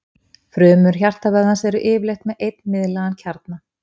frumur hjartavöðvans eru yfirleitt með einn miðlægan kjarna